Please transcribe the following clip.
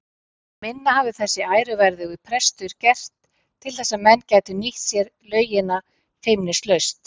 En minna hafði þessi æruverðugi prestur gert til að menn gætu nýtt sér laugina feimnislaust.